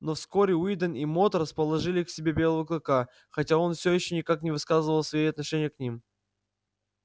но вскоре уидон и мод расположили к себе белого клыка хотя он все ещё никак не выказывал свои отношения к ним